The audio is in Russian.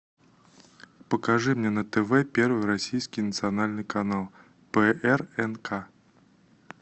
покажи мне на тв первый российский национальный канал прнк